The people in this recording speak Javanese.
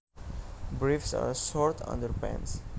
Briefs are short underpants